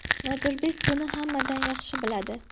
Nodirbek buni hammadan yaxshi biladi.